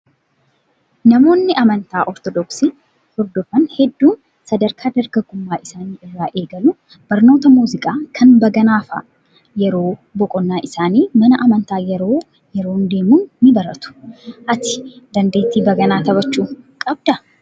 Namoonni amantaa ortodoksii hordofan hedduun sadarkaa dargagummaa isaanii irraa eegaluun barnoota muuziqaa kan baganaa fa'aa yeroo boqonnaa isaanii mana amantaa yeroo yeroon deemuun ni baratu. Ati dandeettii baganaa taphachuu qabdaa?